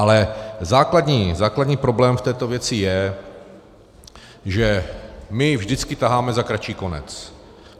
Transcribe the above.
Ale základní problém v této věci je, že my vždycky taháme za kratší konec.